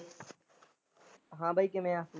ਹਾਂ ਬਾਈ ਕਿਵੇਂ ਆ?